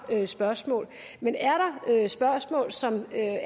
spørgsmål men er der spørgsmål som er